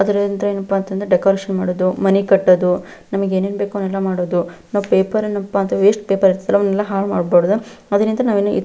ಆದರೆ ಏನಪ್ಪಾ ಅಂತಂದ್ರ ಡೆಕೋರೇಷನ್ ಮಾಡೋದು ಮನಿ ಕಟ್ಟೋದು ನಮಗೆ ಏನ್ ಏನ್ ಬೇಕೋ ಅದೆಲ್ಲ ಮಾಡೋದು ನಾವು ಪೇಪರ್ ಏನಪ್ಪಾ ಅಂತಾದ್ರ ವೇಸ್ಟ್ ಪೆಪೆರ್ನೆ ಲ್ಲಾ ಹಾಳ್ ಮಾಡ್ಬಾರ್ದು ಅದ್ರಿಂದಾ --